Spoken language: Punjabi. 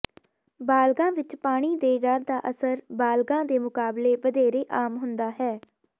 ਬਾਲਗਾਂ ਵਿੱਚ ਪਾਣੀ ਦੇ ਡਰ ਦਾ ਅਸਰ ਬਾਲਗਾਂ ਦੇ ਮੁਕਾਬਲੇ ਵਧੇਰੇ ਆਮ ਹੁੰਦਾ ਹੈ